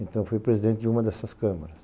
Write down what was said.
Então, eu fui presidente de uma dessas câmaras.